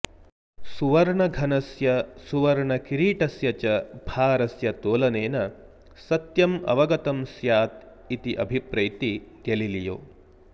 सुवर्णघनस्य सुवर्णकिरीटस्य च भारस्य तोलनेन सत्यम् अवगतं स्यात् इति अभिप्रैति गेलिलियो